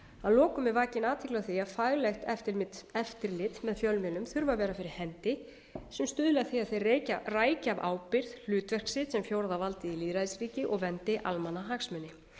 að lokum er vakin athygli á því að faglegt eftirlit með fjölmiðlun þurfa að vera fyrir hendi sem stuðla að því að þeir rækja af ábyrgð hlutverk sitt sem fjórða valdið í lýðræðisríki og verndi almannahagsmuni